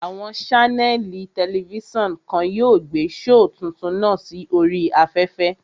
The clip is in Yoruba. Àwọn ṣánẹ̀lì tẹlifísàn kan yóò gbé shoò tuntun náà sí oríi afẹ́fẹ́